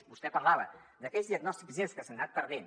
vostè parlava d’aquells diagnòstics lleus que s’han anat perdent